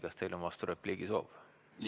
Kas teil on vasturepliigi soov?